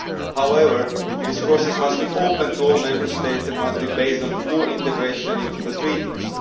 However, this process must be open to all Member States and must be based on full integration into the Treaties.